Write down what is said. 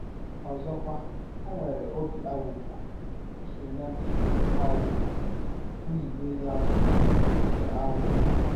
Ọzọkwa, ọ nwere ọbi aghụghọ — ụche ya dị “ aghụghọ, ” nzụbe ya bụ “ nke aghụghọ. ”